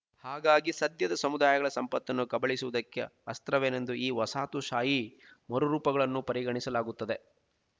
ಹಾಗಾಗಿ ಸದ್ಯದ ಸಮುದಾಯಗಳ ಸಂಪತ್ತನ್ನು ಕಬಳಿಸುವುದಕ್ಕೆಅಸ್ತ್ರವೇನೆಂದು ಈ ವಸಾಹತುಶಾಹಿ ಮರುರೂಪಗಳನ್ನು ಪರಿಗಣಿಸಲಾಗುತ್ತದೆ